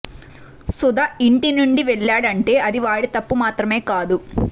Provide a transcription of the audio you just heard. సుధ ఇంటి నుండి వెళ్లాడంటే అది వాడి తప్పు మాత్రమే కాదు